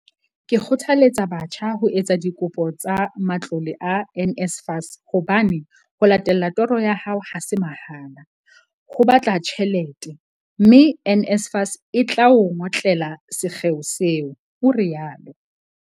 Ke kgothaletsa batjha ho etsa dikopo tsa matlole a NSFAS hobane ho latella toro ya hao ha se mahala, ho batla tjhelete, mme NSFAS e tla o ngotlela sekgeo seo, o rialo.